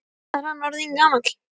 Hvað er hann orðinn gamall?